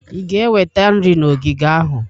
ị ga-eweta nri na ogige ahụ?